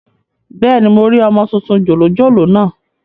Bẹ́ẹ̀ni, mo rí ọmọ tuntun jòjòló naa